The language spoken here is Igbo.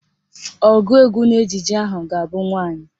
Ọgụụ egwu n'ejije ahụ ga-abụ nwaanyị